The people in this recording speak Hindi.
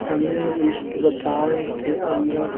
हमें इस मकान के अंदर----